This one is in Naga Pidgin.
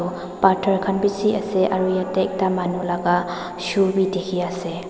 phatar khan bishi ase aro yatae ekta manu laka shoe bi dikhiase.